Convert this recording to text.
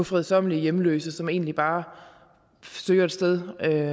fredsommelige hjemløse som egentlig bare søger et sted